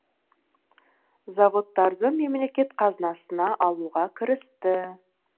заводтарды мемлекет қазынасына алуға кірісті